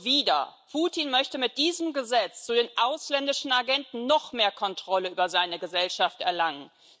Und wieder Putin möchte mit diesem Gesetz zu den ausländischen Agenten noch mehr Kontrolle über seine Gesellschaft erlangen.